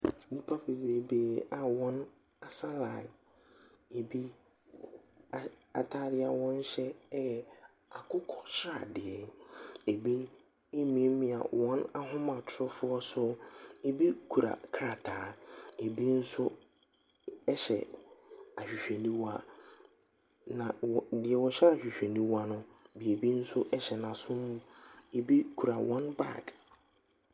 Nnipa bebreebe a wɔn asɛ laen. Ebi atade a wɔhyɛ ɛyɛ akokɔsradeɛ, ebi emiamia wɔn ahomatorofoɔ so. Na ebi kora krataa. Na ebi nso ɛhyɛ ahwehwɛniwa. Na deɛ wɔhyɛ ahwehwɛniwa no, biribi nso ɛhyɛ nasum. Ebi kora wɔn baag.